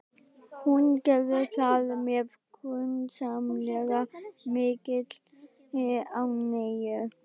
Hún gerði það með grunsamlega mikilli ánægju.